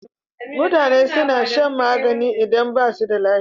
Mutane suna shan magani idan basu da lafiya